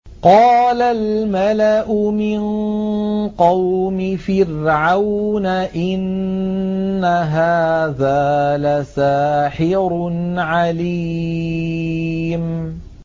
قَالَ الْمَلَأُ مِن قَوْمِ فِرْعَوْنَ إِنَّ هَٰذَا لَسَاحِرٌ عَلِيمٌ